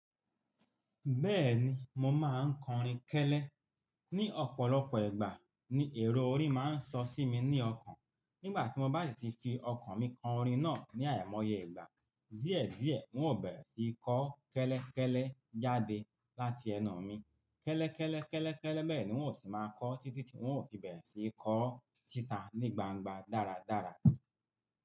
Bẹ́ẹ̀ni, mo máa ń kọ orin kẹ́lẹ́. Ni ọ̀pọ̀lọpọ̀ ìgbà, ni èrò orin máa ń sọ sí mi ní ọkàn. Nígbà tí mo bá ti fi ọkàn mi kọ orin náà ní àìmọye ìgbà, díẹ̀díẹ̀ n ó bẹ̀rẹ̀ sí í kọ́ kẹ́lẹ́kẹ́lẹ́ jáde láti ẹnu mi. Kẹ́lẹ́kẹ́lẹ́, kẹ́lẹ́kẹ́lẹ́, bẹ́ẹ̀ ni wọ́n ó sì máa ń kọ́ títí tí wọ́n ó fi bẹ̀rẹ̀ sí í kọ ọ́ síta ní gbangba dáradára.